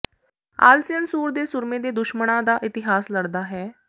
ਆਲਸੀਅਨ ਸੂਰ ਦੇ ਸੂਰਮੇ ਦੇ ਦੁਸ਼ਮਣਾਂ ਦਾ ਇਤਿਹਾਸ ਲੜਦਾ ਹੈ